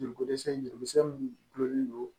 Joliko dɛsɛ jusɛ min gulonlen do